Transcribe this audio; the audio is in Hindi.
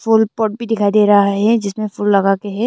पॉट भी दिखाई दे रहा है जिसमें फूल लगा के है।